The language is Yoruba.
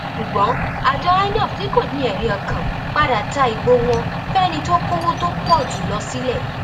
ṣùgbọn àjọ inov tí kò ní ẹrí ọkàn padà ta ìbò wọn fẹni tó kọwọ tó pọ jù lọ sílẹ